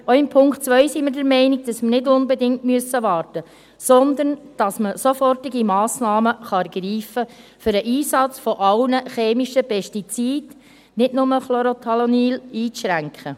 Auch beim Punkt 2 sind wir der Meinung, dass wir nicht unbedingt warten müssen, sondern dass man sofortige Massnahmen ergreifen kann, um den Einsatz aller chemischen Pestizide, nicht nur Chlorothalonil, einzuschränken.